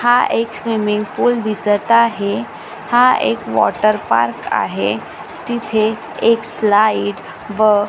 हा एक swimming pool दिसत आहे हा एक वॉटर पार्क आहे तिथे एक स्लाईड व--